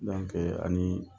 ani